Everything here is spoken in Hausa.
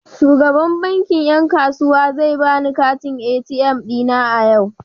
Shugaban bankin yan kasuwa zai bani katin ATM dina a yau.